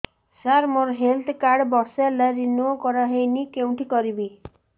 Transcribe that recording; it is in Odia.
ସାର ମୋର ହେଲ୍ଥ କାର୍ଡ ବର୍ଷେ ହେଲା ରିନିଓ କରା ହଉନି କଉଠି କରିବି